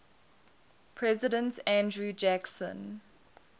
president andrew jackson